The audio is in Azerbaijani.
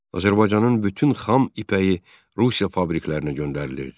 Azərbaycanın bütün xam ipəyi Rusiya fabriklərinə göndərilirdi.